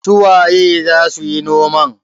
su waye za su yi noman?